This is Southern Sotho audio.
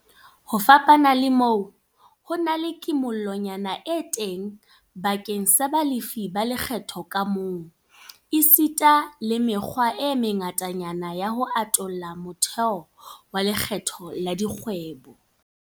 Ho fapana le moo, ho na le kimollonyana e teng bakeng sa balefi ba lekgetho ka bomong, esita le mekgwa e mengatanyana ya ho atolla motheo wa lekgetho la dikgwebo.